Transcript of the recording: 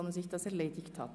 – Dies ist der Fall.